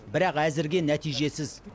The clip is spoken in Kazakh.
бірақ әзірге нәтижесіз